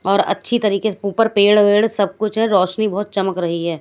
और अच्छी तरीके से ऊपर पेड वेड सब कुछ हें रौशनी बहोत चमक रही हैं।